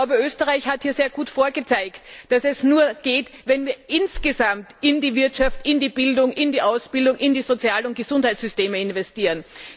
Ich glaube, Österreich hat hier sehr gut vorgezeigt, dass es nur geht, wenn wir insgesamt in die Wirtschaft, in die Bildung, in die Ausbildung, in die Sozial und Gesundheitssysteme investieren.